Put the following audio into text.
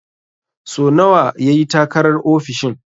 So nawa ya yi takarar ofishin?